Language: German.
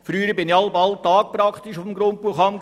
Früher war ich fast täglich auf dem Grundbuchamt.